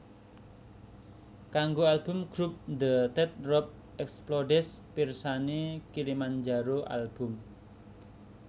Kanggo album grup The Teardrop Explodes pirsani Kilimanjaro album